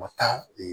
Ma taa